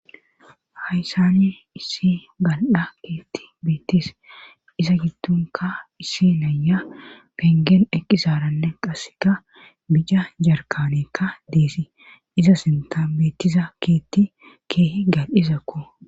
hayssani issi bal7a keetti beettis isa gidtunka issi naya pengeen eqqisaranne qasseka bija jarkanekka deesii iza sinta beettiza kietti kee gal izakko